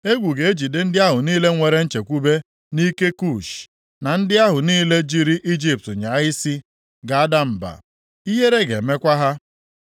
Egwu ga-ejide ndị ahụ niile nwere nchekwube nʼike Kush, na ndị ahụ niile jiri Ijipt nyaa isi ga-ada mba. Ihere ga-emekwa ha. + 20:5 \+xt Aịz 30:3-5; 31:1; Izk 29:6-7\+xt*